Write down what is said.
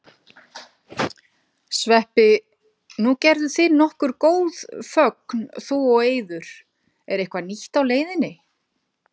Sveppi, nú gerðuð þið nokkur góð fögn þú og Eiður, er eitthvað nýtt á leiðinni?